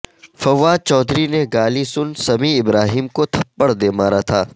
فواد چودھری نے گالی سن سمیع ابراہیم کو تھپڑ دے مارا تھا